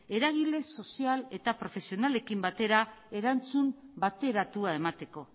eragile sozial eta profesionalekin batera erantzun bateratua emateko